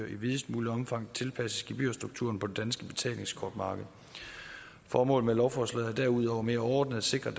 i videst muligt omfang tilpasses gebyrstrukturen på det danske betalingskortmarked formålet med lovforslaget er derudover mere overordnet at sikre at